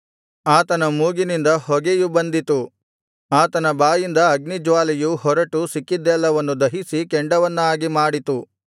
ಆತನ ಮೂಗಿನಿಂದ ಹೊಗೆಯು ಬಂದಿತು ಆತನ ಬಾಯಿಂದ ಅಗ್ನಿಜ್ವಾಲೆಯು ಹೊರಟು ಸಿಕ್ಕಿದ್ದೆಲ್ಲವನ್ನು ದಹಿಸಿ ಕೆಂಡವನ್ನಾಗಿ ಮಾಡಿತು